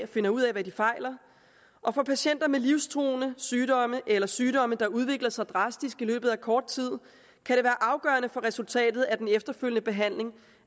finder ud af hvad de fejler og for patienter med livstruende sygdomme eller sygdomme der udvikler sig drastisk i løbet af kort tid kan det være afgørende for resultatet af den efterfølgende behandling